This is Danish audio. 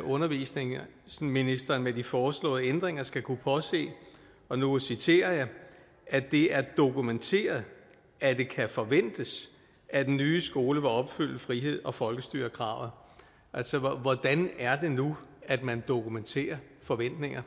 undervisningsministeren med de foreslåede ændringer skal kunne påse og nu citerer jeg at det er dokumenteret at det kan forventes at den nye skole vil opfylde frihed og folkestyre kravet altså hvordan er det nu at man dokumenterer forventninger